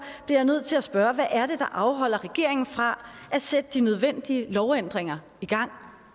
jeg nødt til at spørge hvad er det der afholder regeringen fra at sætte de nødvendige lovændringer i gang